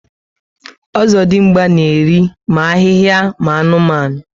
Ozodimgba na eri ma ahịhịa ma anụmanụ